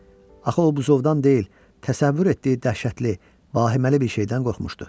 Axı o buzovdan deyil, təsəvvür etdiyi dəhşətli, vahiməli bir şeydən qorxmuşdu.